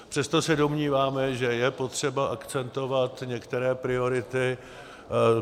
Přesto se domníváme, že je potřeba akcentovat některé priority.